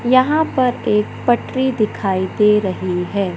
यहां पर एक पटरी दिखाई दे रही है।